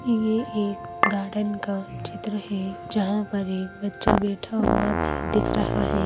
ये एक गार्डन का चित्र हैं जहाँ पर एक बच्चा बैठा हुवा भी दिख रहा है।